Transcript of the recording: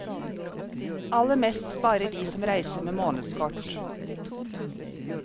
Aller mest sparer de som reiser med månedskort.